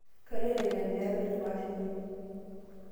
Kaloito aitempea penyo paashukunye